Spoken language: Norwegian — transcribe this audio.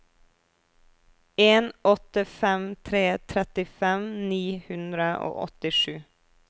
en åtte fem tre trettifem ni hundre og åttisju